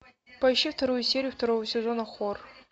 поищи вторую серию второго сезона хор